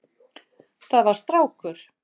Það var strákur.